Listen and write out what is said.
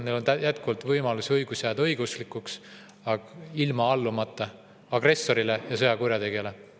Neil on jätkuvalt õigus jääda õigeusklikuks, aga ilma allumata agressorile ja sõjakurjategijale.